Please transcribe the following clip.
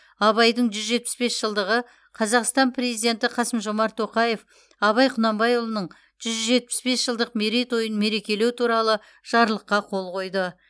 абайдың жүз жетпіс бес жылдығы қазақстан президенті қасым жомарт тоқаев абай құнанбайұлының жүз жетпіс бес жылдық мерейтойын мерекелеу туралы жарлыққа қол қойды